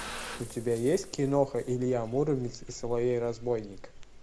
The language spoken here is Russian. у тебя есть киноха илья муромец и соловей разбойник